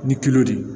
Ni de ye